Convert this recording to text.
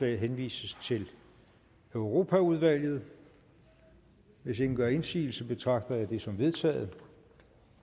henvises til europaudvalget hvis ingen gør indsigelse betragter jeg det som vedtaget